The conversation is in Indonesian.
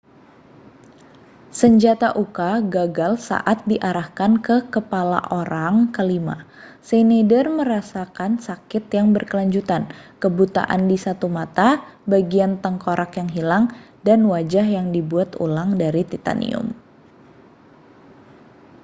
senjata uka gagal saat diarahkan ke kepala orang kelima schneider merasakan sakit yang berkelanjutan kebutaan di satu mata bagian tengkorak yang hilang dan wajah yang dibuat ulang dari titanium